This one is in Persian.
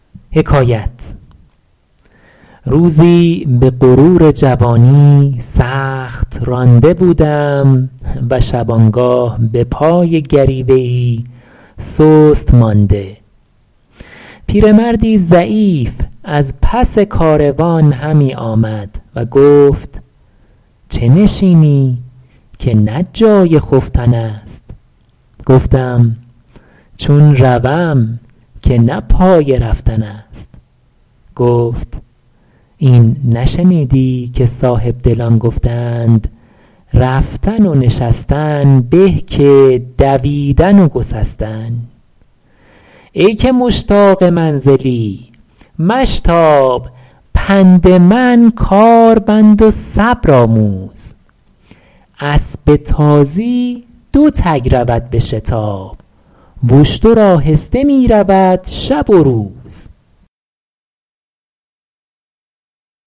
روزی به غرور جوانی سخت رانده بودم و شبانگاه به پای گریوه ای سست مانده پیرمردی ضعیف از پس کاروان همی آمد و گفت چه نشینی که نه جای خفتن است گفتم چون روم که نه پای رفتن است گفت این نشنیدی که صاحبدلان گفته اند رفتن و نشستن به که دویدن و گسستن ای که مشتاق منزلی مشتاب پند من کار بند و صبر آموز اسب تازی دو تگ رود به شتاب و اشتر آهسته می رود شب و روز